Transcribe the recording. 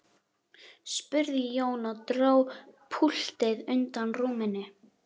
spurði Jón og dró púltið undan rúminu.